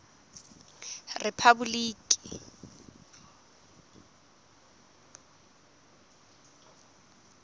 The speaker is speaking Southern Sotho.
rephaboloki